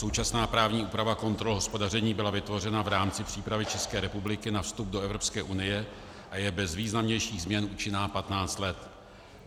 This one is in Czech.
Současná právní úprava kontrol hospodaření byla vytvořena v rámci přípravy České republiky na vstup do Evropské unie a je bez významnějších změn účinná 15 let.